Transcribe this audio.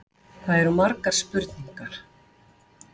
Það eru margar spurningar.